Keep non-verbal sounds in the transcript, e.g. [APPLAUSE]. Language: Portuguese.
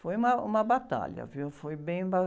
Foi uma, uma batalha, viu? Foi bem... [UNINTELLIGIBLE]